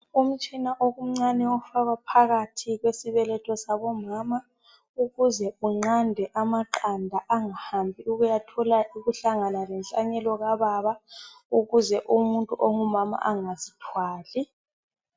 Umtshina okuncane ofakwa phakathi kwesibeletho sabomama ukuze unqande amaqanda angahambi ukuyathola ukuhlangana lenhlanyelo kababa ukuze umuntu ongumama angazithwali.